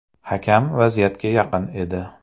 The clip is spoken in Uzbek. Hakam vaziyatga yaqin edi.